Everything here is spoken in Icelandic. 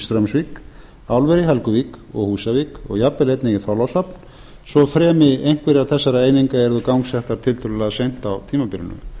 straumsvík álver í helguvík og húsavík og jafn vel einnig í þorlákshöfn svo fremi einhverjar þessara eininga eru gangsettar tiltölulega seint á tímabilinu